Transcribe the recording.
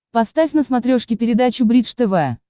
поставь на смотрешке передачу бридж тв